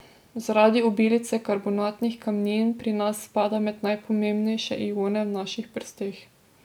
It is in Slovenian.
Zaradi obilice karbonatnih kamnin pri nas spada med najpomembnejše ione v naših prsteh.